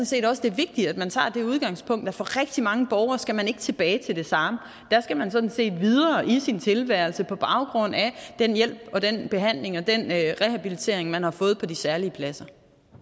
set også det er vigtigt at man tager det udgangspunkt at for rigtig mange borgeres vedkommende skal man ikke tilbage til det samme der skal man sådan set videre i sin tilværelse på baggrund af den hjælp og den behandling og den rehabilitering man har fået på de særlige pladser